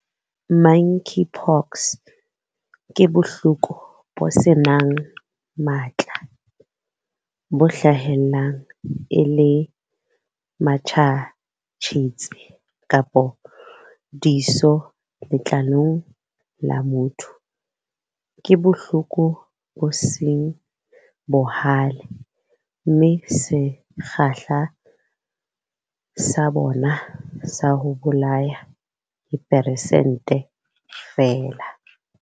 Monkeypox ke bohloko bo seng matla, bo hlahellang e le matjhatjhetsi kapa diso letlalong la motho. Ke bohloko bo seng bohale mme sekgahla sa bona sa ho bolaya ke persente feela.